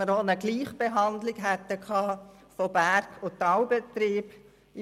So hätten wir eine Gleichbehandlung von Berg- und Talbetrieben erreicht.